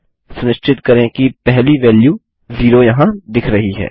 सुनिश्चित करें कि पहली वेल्यू जीरो यहाँ दिख रही है